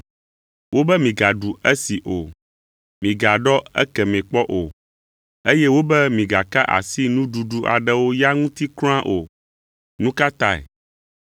“Wobe migaɖu esi o! Migaɖɔ ekemɛ kpɔ o! Eye wobe migaka asi nuɖuɖu aɖewo ya ŋuti kura o!” Nu ka tae?